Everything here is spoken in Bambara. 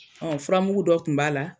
Ɔ furamugu dɔ tun b'a la